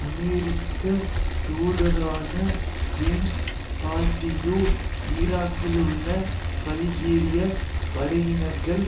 அமெரிக்க தூதரான James Pardew ஈராக்கிலுள்ள பல்கேரிய படையினர்கள்